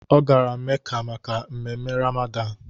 Ọ gara Meca maka ememe Ramadan